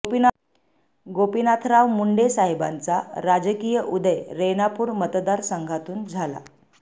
गोपीनाथराव मुंडे साहेबांचा राजकीय उदय रेणापूर मतदार संघातून झाला